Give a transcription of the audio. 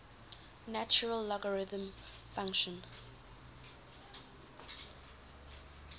natural logarithm function